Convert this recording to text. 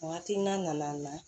Hakilina nana